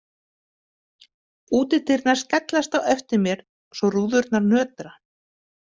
Útidyrnar skellast á eftir mér svo rúðurnar nötra.